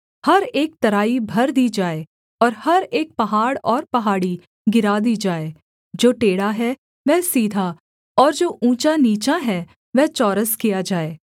हर एक तराई भर दी जाए और हर एक पहाड़ और पहाड़ी गिरा दी जाए जो टेढ़ा है वह सीधा और जो ऊँचा नीचा है वह चौरस किया जाए